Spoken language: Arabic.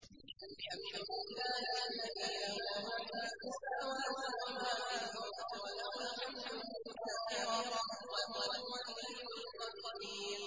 الْحَمْدُ لِلَّهِ الَّذِي لَهُ مَا فِي السَّمَاوَاتِ وَمَا فِي الْأَرْضِ وَلَهُ الْحَمْدُ فِي الْآخِرَةِ ۚ وَهُوَ الْحَكِيمُ الْخَبِيرُ